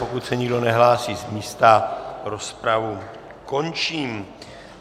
Pokud se nikdo nehlásí z místa, rozpravu končím.